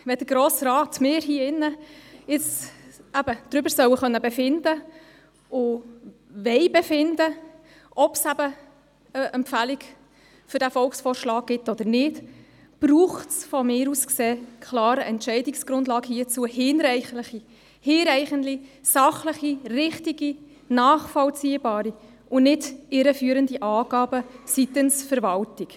Wenn wir als Grosser Rat hier in diesem Saal darüber befinden sollen und befinden wollen, ob es eine Empfehlung für den Volksvorschlag gibt oder nicht, braucht es dazu aus meiner Sicht klar eine hinreichende, sachlich richtige und nachvollziehbare Entscheidungsgrundlage, und nicht irreführende Angaben seitens der Verwaltung.